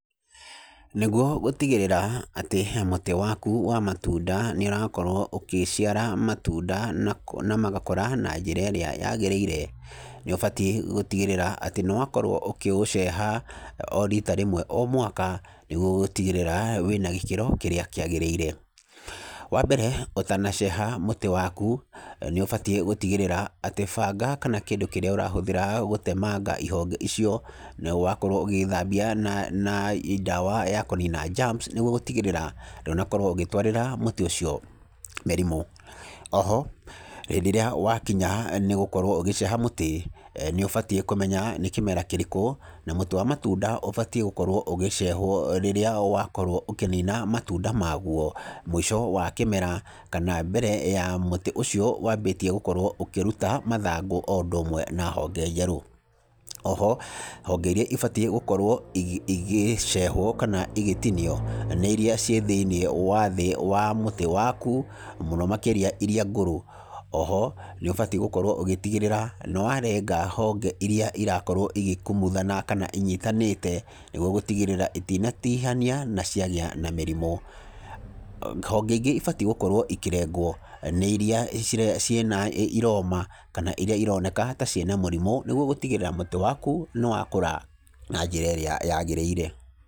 Nĩguo gũtigĩrĩra ati he mũti waku wa matunda, nĩ ũrakorwo ũkĩciara matunda na magakũra na njĩra ĩrĩa yagĩrĩire, nĩ ũbatiĩ gũtigĩrĩra atĩ nĩ wakorwo ũkĩũceha o rita rĩmwe o mwaka nĩguo gũtigĩrĩra wĩna gĩkĩro kĩrĩa kĩagĩrĩire, wa mbere ũtanaceha mũtĩ waku, nĩ ũbatiĩ gũtigĩrĩra atĩ banga kana kĩndũ kĩrĩa ũrahũthĩra gũtemanga ihonge icio, nĩ wakorwo ũgĩthambia na na ndawa ya kũnina germs, nĩguo gũtigĩrĩra ndũnakorwo ũgĩtwarĩra mũtĩ ũcio mĩrimũ, oho hindĩ ĩrĩa wakinya nĩ gũkorwo ũgĩceha mũtĩ, nĩ ũbatiĩ kũmenya nĩ kĩmera kĩrĩkũ, na mũtĩ wa matunda ũbatiĩ gũkorwo ũgĩcehwo rĩrĩa wakorwo ũkĩnina matunda magwo, mũico wa kĩmera, kana mbere wa mũtĩ ũcio wambĩtie gũkorwo ũkĩruta mathangũ, o ũndũ ũmwe na honge njerũ, oho, honge iria ibatiĩ gũkorwo i igecehwo, kana igĩtinio, nĩ iria ciĩ thĩinĩ wa thĩ wa mũtĩ waku, mũno makĩria iria ngũrũ, oho nĩ ũbatiĩ gũkorwo ũgĩtigĩrĩra nĩ warenga honge iria irakorwo ĩgĩkumuthana, kana inyitanĩte, nĩguo gũtigĩrĩra itinatihania naciagĩa na mĩrimo, honge ingĩ ibatiĩ gukorwo ikĩrengwo, nĩ iria cire cĩna iroma, kana iria ironeka ta cina mũrimũ, nĩguo gũtigĩrĩra mũtĩ waku nĩ wakora na njĩra ĩrĩa yagĩrĩire.